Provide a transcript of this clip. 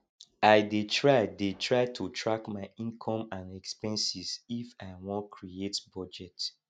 i dey try dey try to track my income and expenses if i won create budget